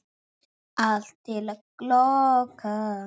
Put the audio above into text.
Allt til loka.